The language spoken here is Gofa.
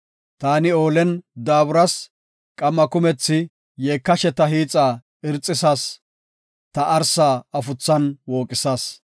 Taani oolen daaburas; qamma kumethi yeekashe ta hiixa irxisas; ta arsa afuthan wooqisas.